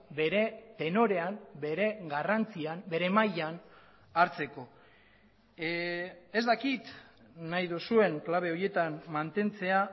bere tenorean bere garrantzian bere mailan hartzeko ez dakit nahi duzuen klabe horietan mantentzea